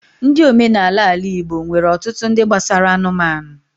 Ndi omenala ala-igbo nwere otutu ndi gbasara anụmanụ